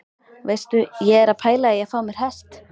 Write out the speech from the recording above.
Veistu, ég er að pæla í að fá mér hest!